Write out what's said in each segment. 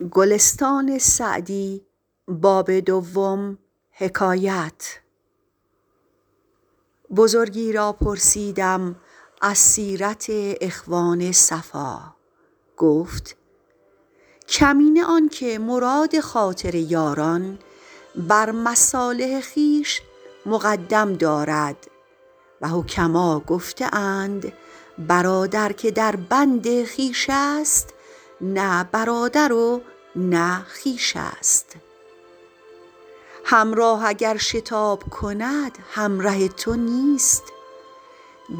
بزرگی را پرسیدم از سیرت اخوان صفا گفت کمینه آن که مراد خاطر یاران بر مصالح خویش مقدم دارد و حکما گفته اند برادر که در بند خویش است نه برادر و نه خویش است همراه اگر شتاب کند همره تو نیست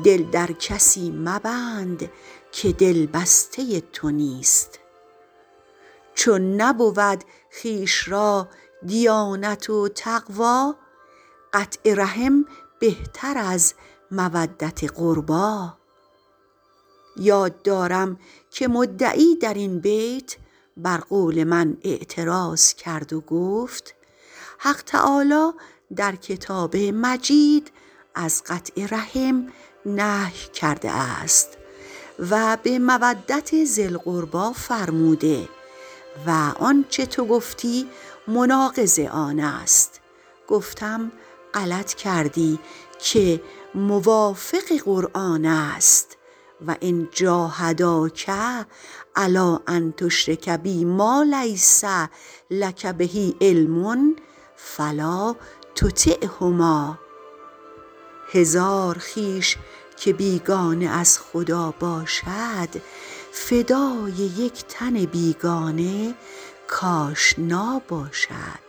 دل در کسی مبند که دل بسته تو نیست چون نبود خویش را دیانت و تقوی قطع رحم بهتر از مودت قربی یاد دارم که مدعی در این بیت بر قول من اعتراض کرده بود و گفته حق تعالی در کتاب مجید از قطع رحم نهی کرده است و به مودت ذی القربی فرموده و اینچه تو گفتی مناقض آن است گفتم غلط کردی که موافق قرآن است و ان جاهداک علی ان تشرک بی ما لیس لک به علم فلا تطعهما هزار خویش که بیگانه از خدا باشد فدای یک تن بیگانه کآشنا باشد